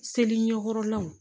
Seli ɲɛkɔrɔlaw